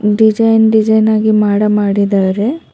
Design design ಆಗಿ ಮಾಡ ಮಾಡಿದಾರೆ.